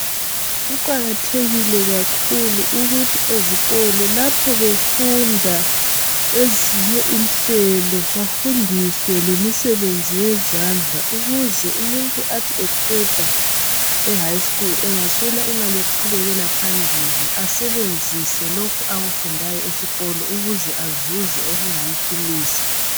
Kuqakathekile kakhulu ukuthi ezikolo lapho befunda ezinye inhlelo bafundiswe lemisebenzi yezandla ukuze umuntu athi eqeda ehighschool engaswela imali yokuqhubekela phambili asebenzise lokhu akufundayo esikolo ukuze azuze okungamphilisa.